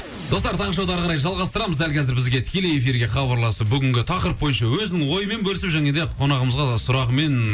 достар таңғы шоуды ары қарай жалғастырамыз дәл қазір бізге тікелей эфирге хабарласып бүгінгі тақырып бойынша өзінің ойымен бөлісіп және де қонағымызға сұрағымен